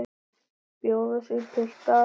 Bjóða sig, piltar.